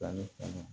Fani kɛnɛ